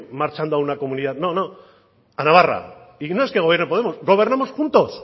marchando a una comunidad no no a navarra y no es que gobierne podemos gobernamos juntos